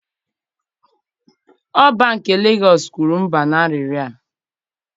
Oba nke Legọs kwuru mba na arịrịọ a.